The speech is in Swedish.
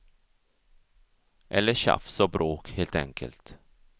Eller tjafs och bråk, helt enkelt.